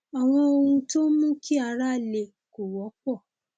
àwọn ohun tó ń mú kí ara le kò wọpọ